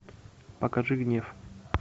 покажи гнев